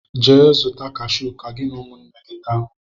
Jee zuta kashu ka gị na ụmụnne gị taa!